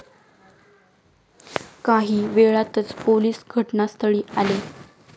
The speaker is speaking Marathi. काही वेळातच पोलीस घटनास्थळी आले.